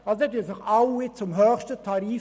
Dann versichern sich alle zum höchsten Tarif.